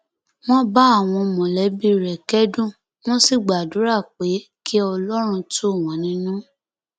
wọn bá àwọn mọlẹbí rẹ kẹdùn wọn sì gbàdúrà pé kí ọlọrun tù wọn nínú